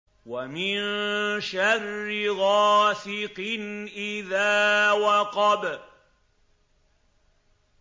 وَمِن شَرِّ غَاسِقٍ إِذَا وَقَبَ